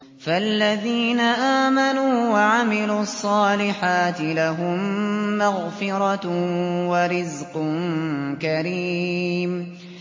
فَالَّذِينَ آمَنُوا وَعَمِلُوا الصَّالِحَاتِ لَهُم مَّغْفِرَةٌ وَرِزْقٌ كَرِيمٌ